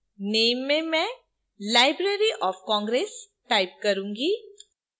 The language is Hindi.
name में मैं library of congress type करूंगी